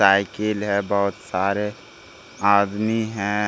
Cycle है बहुत सारे आदमी है।